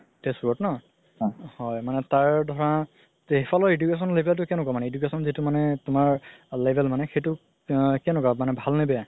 তেজপুতৰ ন হয় মানে তাৰ ধৰা সেই ফালৰ education level তো কেনেকুৱা মানে education যিতো মানে তুমাৰ level মানে সেইটো কেনেকুৱা ভাল নে বেয়া